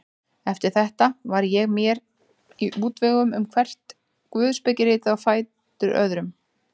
Eftir þetta var ég mér í útvegum um hvert guðspekiritið á fætur öðru.